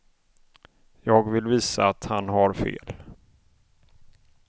Jag vill visa att han har fel.